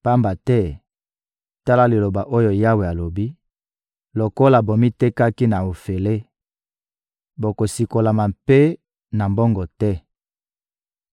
Pamba te, tala liloba oyo Yawe alobi: «Lokola bomitekaki na ofele, bokosikolama mpe na mbongo te.»